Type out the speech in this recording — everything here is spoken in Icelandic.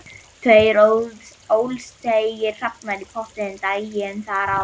Tveir ólseigir hrafnar í pottinum daginn þar áður.